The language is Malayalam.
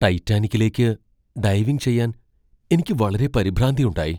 ടൈറ്റാനിക്കിലേക്ക് ഡൈവിംഗ് ചെയ്യാൻ എനിക്ക് വളരെ പരിഭ്രാന്തി ഉണ്ടായി .